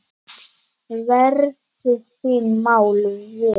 Verðu þín mál vel.